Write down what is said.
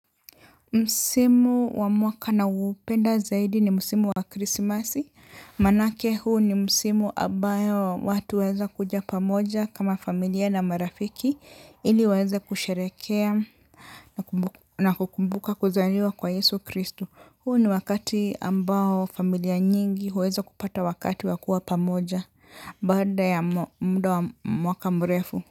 Msimu wa mwaka nawoupenda zaidi ni msimu wa krisimasi. Maanake huu ni msimu abayo watu huweza kuja pamoja kama familia na marafiki. Ili waeze kusherekea na kukumbuka kuzaliwa kwa Yesu Kristu. Huu ni wakati ambao familia nyingi huweza kupata wakati wa kuwa pamoja. Baada ya mda wa mwaka mrefu.